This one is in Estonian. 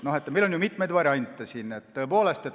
Meil on mitmeid variante.